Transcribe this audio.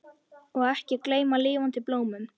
Og ekki gleyma lifandi blómum!